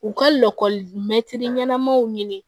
U ka lakɔli mɛtiri ɲɛnamaw ɲini